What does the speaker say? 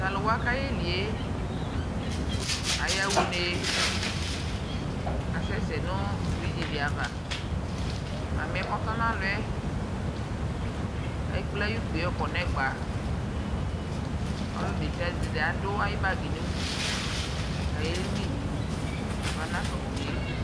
Taluwa kayɛlie ayaɣa unee kasɛsɛ nu brridʒi diava mamiɛ kɔtɔɔ nalɔɛ ekple ayukpie yɔkɔ nɛgbauludesiade adu ayu1bagiɛ nudu kayeli kama naɣafa unee